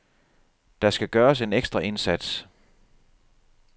Der skal gøres en ekstra indsats.